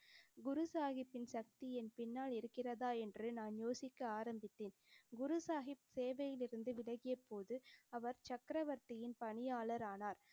குரு சாஹிப்பின் சக்தி என் பின்னால் இருக்கிறதா என்று நான் யோசிக்க ஆரம்பித்தேன். குரு சாஹிப் சேவையிலிருந்து விலகியபோது அவர் சக்கரவர்த்தியின் பணியாளரானார்.